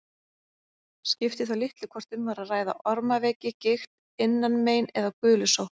Skipti þá litlu hvort um var að ræða ormaveiki, gigt, innanmein eða gulusótt.